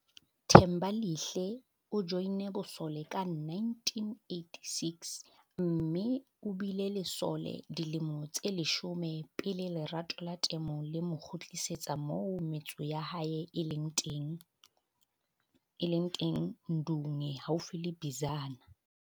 Thembalihle o joinne bosole ka 1986, mme o bile lesole dilemo tse leshome pele lerato la temo le mo kgutlisetsa moo metso ya hae e leng teng Ndunge haufi le Bizana.